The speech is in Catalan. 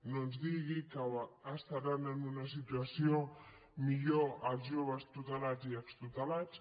no ens digui que estaran en una situa ció millor els joves tutelats i extutelats